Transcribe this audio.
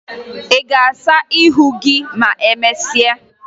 Ị ga-asa ihu gị ma emesịa?